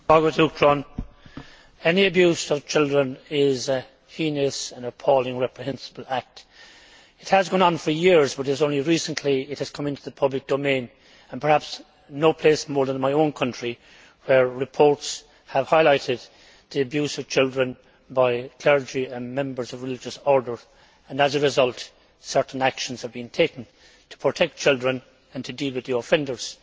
Madam President, any abuse of children is a heinous, appalling reprehensible act. It has gone on for years but it has only recently come into the public domain and perhaps no place more than my own country, where reports have highlighted the abuse of children by clergy and members of religious orders. As a result certain actions have been taken to protect children and to deal with the offenders.